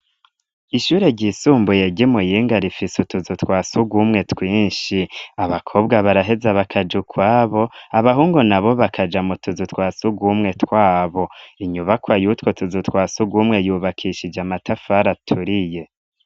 Ishure ryisumbuye ryi Muyinga rifiso utuzu twasugumwe twinshi abakobwa baraheze bakaja ukwabo abahungu nabo bakaja mutuzu twasugumwe twabo, inyubakwa yutwo tuzu twasugumwe yubakishije amatafari aturiye.